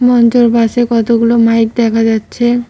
মঞ্চের পাশে কতগুলো মাইক দেখা যাচ্ছে।